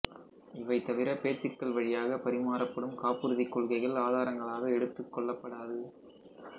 இவைதவிர பேச்சுக்கள் வழியாக பரிமாறப்படும் காப்புறுதி கொள்கைகள் ஆதாரங்களாக எடுத்துக்கொள்ளப்படாது